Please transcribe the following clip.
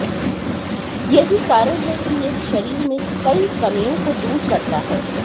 यही कारण है कि ये शरीर में कई कमियों को दूर करता है